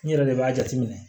N yɛrɛ de b'a jateminɛ